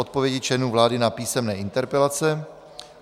Odpovědi členů vlády na písemné interpelace